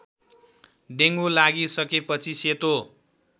dengue लागिसकेपछि सेतो